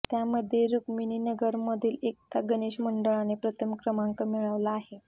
त्यामध्ये रुक्मिणीनगरमधील एकता गणेश मंडळाने प्रथम क्रंमाक मिळवला आहे